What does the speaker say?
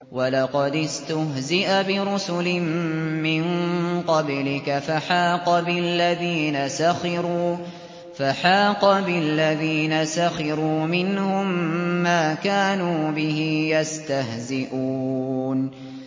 وَلَقَدِ اسْتُهْزِئَ بِرُسُلٍ مِّن قَبْلِكَ فَحَاقَ بِالَّذِينَ سَخِرُوا مِنْهُم مَّا كَانُوا بِهِ يَسْتَهْزِئُونَ